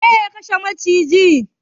Waye ya kashe macijin?